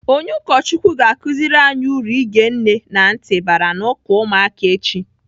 Onye ụkọchukwu ga-akụziri anyị uru ige nne na ntị bara n'uka ụmụaka echi.